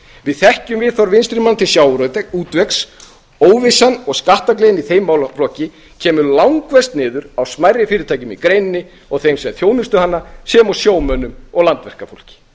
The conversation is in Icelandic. við þekkjum viðhorf vinstri manna til sjávarútvegs óvissan og skattgleðin í þeim málaflokki kemur langverst niður á smærri fyrirtækjum í greininni og þeim sem þjónusta hana sem og sjómönnum og landverkafólki